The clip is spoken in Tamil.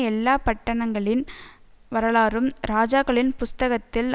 எல்லா பட்டணங்களின் வரலாறும் ராஜாக்களின் புஸ்தகத்தில்